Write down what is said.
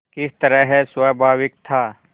किस तरह स्वाभाविक था